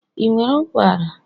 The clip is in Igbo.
ị nwere ụkwara?